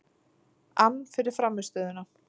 ann fyrir frammistöðuna.